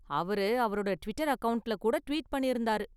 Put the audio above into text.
அவர் அவரோட டிவிட்டர் அக்கவுண்ட்ல கூட ட்வீட் பண்ணிருந்தாரு.